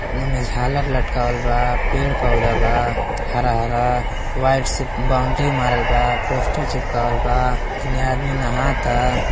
इमे झालर लटकावल बा| पेड़ पौधा बा| हरा हरा वायर से बाउन्ड्री मारल बा| पोस्टर चिपकावल बा| इमे आदमी नहाता।